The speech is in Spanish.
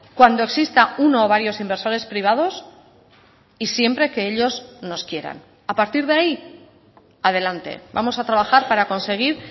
cuando exista uno o varios inversores privados y siempre que ellos nos quieran a partir de ahí adelante vamos a trabajar para conseguir